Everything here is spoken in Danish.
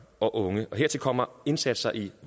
og unge hertil kommer indsatser i